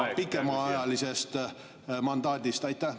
… või piisaks pikemaajalisest mandaadist?